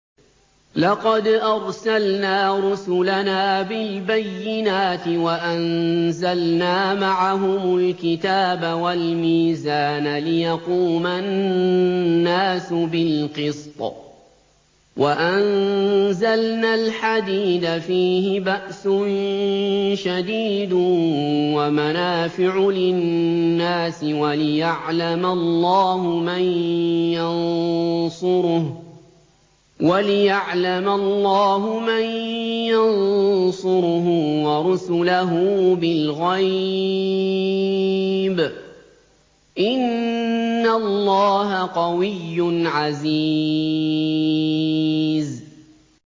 لَقَدْ أَرْسَلْنَا رُسُلَنَا بِالْبَيِّنَاتِ وَأَنزَلْنَا مَعَهُمُ الْكِتَابَ وَالْمِيزَانَ لِيَقُومَ النَّاسُ بِالْقِسْطِ ۖ وَأَنزَلْنَا الْحَدِيدَ فِيهِ بَأْسٌ شَدِيدٌ وَمَنَافِعُ لِلنَّاسِ وَلِيَعْلَمَ اللَّهُ مَن يَنصُرُهُ وَرُسُلَهُ بِالْغَيْبِ ۚ إِنَّ اللَّهَ قَوِيٌّ عَزِيزٌ